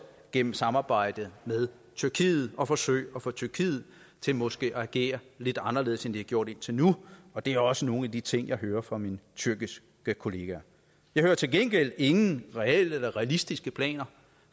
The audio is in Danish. gennem samarbejdet med tyrkiet og at forsøge at få tyrkiet til måske at agere lidt anderledes end de har gjort indtil nu det er også nogle af de ting jeg hører fra mine tyrkiske kolleger jeg hører til gengæld ingen reelle eller realistiske planer